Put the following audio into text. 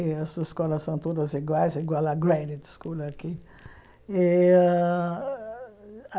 Essas escolas são todas iguais, igual à Graduate School aqui. E a